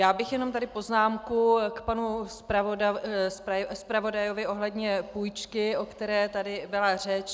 Já bych jenom tady poznámku k panu zpravodajovi ohledně půjčky, o které tady byla řeč.